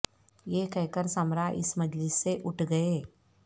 یہ کہہ کر سمرہ اس مجلس سے اٹھ گئے